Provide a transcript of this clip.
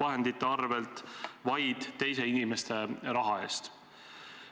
vahendite arvel, vaid teise inimese raha eest.